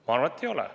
Ma arvan, et ei ole.